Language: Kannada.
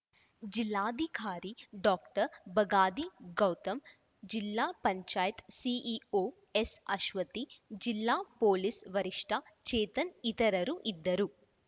ಜಿಲ್ಲಾಧಿಕಾರಿ ಡಾಕ್ಟರ್ ಬಗಾದಿ ಗೌತಮ್‌ ಜಿಲ್ಲಾ ಪಂಚಾಯತ್ ಸಿಇಒ ಎಸ್‌ಅಶ್ವತಿ ಜಿಲ್ಲಾ ಪೊಲೀಸ್‌ ವರಿಷ್ಟಆರ್‌ಚೇತನ್‌ ಇತರರು ಇದ್ದರು